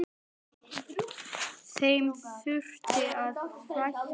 Þeim þurfi að fækka.